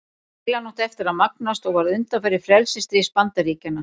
Deilan átti eftir að magnast og varð undanfari frelsisstríðs Bandaríkjanna.